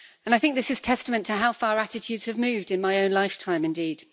I think this is testament to how far attitudes have moved in my own lifetime, indeed.